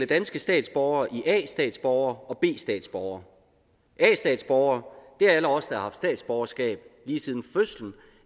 danske statsborgere i a statsborgere og b statsborgere a statsborgere er alle os der har haft statsborgerskab lige siden fødslen